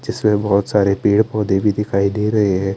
जिसमे बोहोत सारे पेड़ पोधे भी दिखाई दे रहे है।